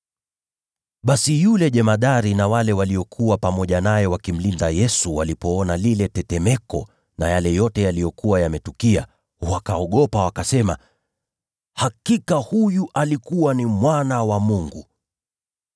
Basi yule jemadari na wale waliokuwa pamoja naye wakimlinda Yesu walipoona lile tetemeko na yale yote yaliyokuwa yametukia, waliogopa, wakasema, “Hakika huyu alikuwa Mwana wa Mungu!”